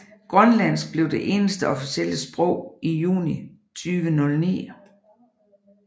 Grønlandsk blev det eneste officielle sprog i juni 2009